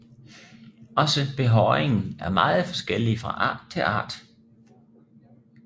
Også behåringen er meget forskellig fra art til art